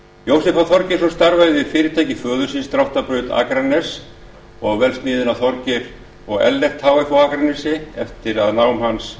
jósef h þorgeirsson starfaði við fyrirtæki föður síns dráttarbraut akraness og vélsmiðjuna þorgeir og ellert h f á akranesi eftir að námi hans